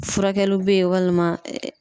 Furakɛliw bɛ ye walima